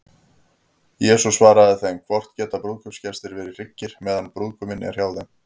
Jesús svaraði þeim: Hvort geta brúðkaupsgestir verið hryggir, meðan brúðguminn er hjá þeim?